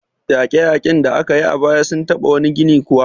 Yaƙe-yaƙen da aka yi a baya sun taɓa wani gini kuwa?